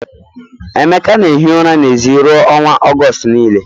Emeka na-ehi ụra n'èzí ruo n'ọnwa Ọgọst niile